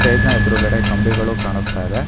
Stage ನ ಎದುರುಗಡೆ ಕಂಬಿಗಳು ಕಾಣಿಸ್ತಾಯಿದೆ.